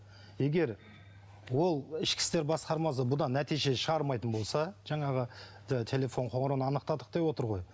егер ол ішкі істер басқармасы бұдан нәтиже шығармайтын болса жаңағы телефон қоңырауын анықтадық деп отыр ғой